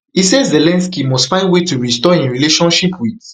e say zelensky must find way to restore im relationship wit